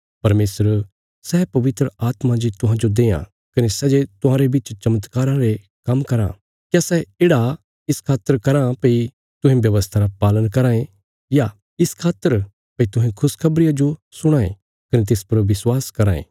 परमेशर सै पवित्र आत्मा जे तुहांजो देआं कने सै जे तुहांरे बिच चमत्कारा रे काम्म कराँ क्या सै येढ़ा इस खातर कराँ भई तुहें व्यवस्था रा पालन कराँ ये या इस खातर भई तुहें खुशखबरिया जो सुणां ये कने तिस पर विश्वास कराँ ये